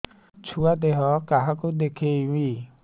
ଛୁଆ ଦେହ କାହାକୁ ଦେଖେଇବି